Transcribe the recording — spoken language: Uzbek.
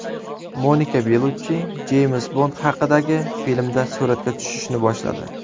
Monika Beluchchi Jeyms Bond haqidagi filmda suratga tushishni boshladi.